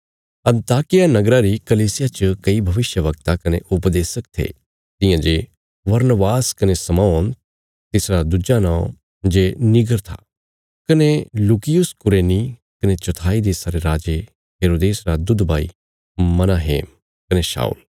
अन्ताकिया नगरा री कलीसिया च कई भविष्यवक्ता कने उपदेशक थे तियां जे बरनबास कने शमौन तिसरा दुज्जी नौं जे नीगर था कने लूकियुस कुरेनी कने चौथाई देशा रे राजे हेरोदेस रा दुध भाई मनाहेम कने शाऊल